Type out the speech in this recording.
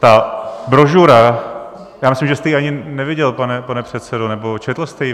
Ta brožura - já myslím, že jste ji ani neviděl, pane předsedo, nebo četl jste ji?